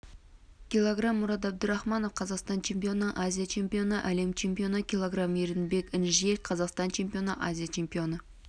кг мурад абдурахманов қазақстан чемпионы азия чемпионы әлем чемпионы кг еркінбек інжел қазақстан чемпионы азия чемпионы